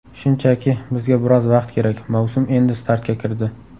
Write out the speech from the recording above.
Shunchaki, bizga biroz vaqt kerak, mavsum endi startga kirdi.